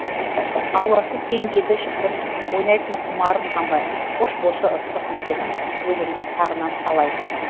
ауласы кең еді шіркін ойнайтын құмарым қанбай қош болшы ыстық мекенім өзіңді сағынам талай